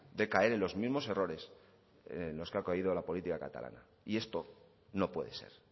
de caer en los mismos errores en los que ha caído la política catalana y esto no puede ser